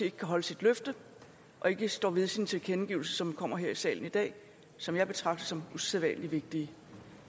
ikke kan holde sit løfte og ikke står ved sine tilkendegivelser som kommer her i salen i dag og som jeg betragter som usædvanlig vigtige